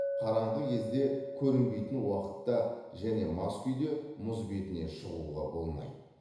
қараңғы кезде көрінбейтін уақытта және мас күйде мұз бетіне шығуға болмайды